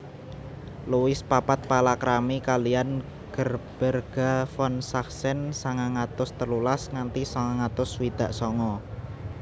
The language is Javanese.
Louis papat palakrami kaliyan Gerberga von Sachsen sangang atus telulas nganti sangang atus swidak sanga